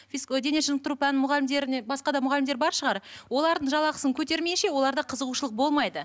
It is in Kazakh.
дене шынықтыру пәні мұғалімдеріне басқа да мұғалімдер бар шығар олардың жалақысын көтермейінше оларда қызығушылық болмайды